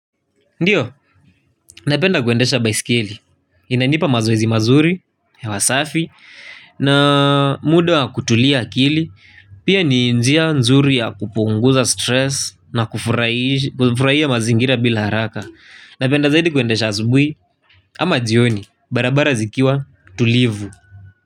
Ndiyo, napenda kwendesha baiskeli, inanipa mazoezi mazuri, hewa safi, na muda kutulia akili, pia ni njia nzuri ya kupunguza stress na kufurahia mazingira bila haraka. Napenda zaidi kuendesha asubuhi, ama jioni, barabara zikiwa tulivu.